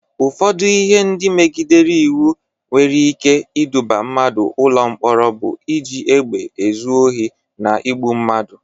Ụfọdụ ihe ndị megidere iwu nke nwere ike iduba mmadụ ụlọ mkpọrọ bụ iji egbe ezu Ohi, na igbụ mmadụ.